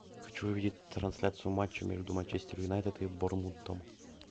хочу увидеть трансляцию матча между манчестер юнайтед и борнмутом